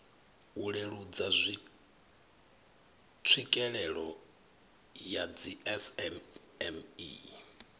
u leludza tswikelelo ya dzismme